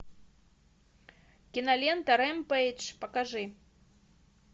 кинолента ремпейдж покажи